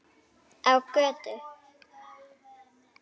Á götu.